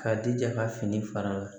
K'a jija ka fini fara a la